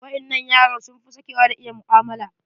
Waƴannan yaran sun fi sakewa da iya mu'amala.